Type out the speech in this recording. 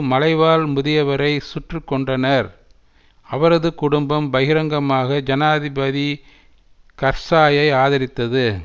மலைவாழ் முதியவரை சுட்டு கொன்றனர் அவரது குடும்பம் பகிரங்கமாக ஜனாதிபதி கர்சாயை ஆதரித்தது